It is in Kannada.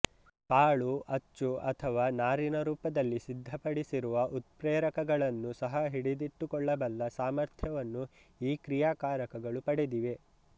ಕಾಳು ಅಚ್ಚು ಅಥವಾ ನಾರಿನ ರೂಪದಲ್ಲಿ ಸಿದ್ಧಪಡಿಸಿರುವ ಉತ್ಪ್ರೇರಕಗಳನ್ನೂ ಸಹ ಹಿಡಿದಿಟ್ಟುಕೊಳ್ಳಬಲ್ಲ ಸಾಮರ್ಥ್ಯವನ್ನು ಈ ಕ್ರಿಯಾಕಾರಕಗಳು ಪಡೆದಿವೆ